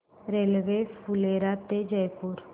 railway Phulera ते जयपूर